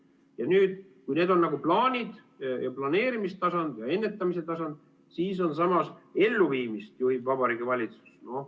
Ja nüüd, kui need on plaanid ja planeerimistasand ja ennetamistasand, siis on samas: "elluviimist juhib Vabariigi Valitsus".